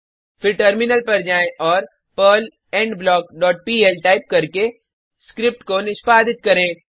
फिर टर्मिनल पर जाएँ और Perl end block dot PL type करके स्क्रिप्ट को निष्पादित करें